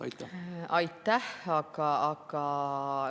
Aitäh!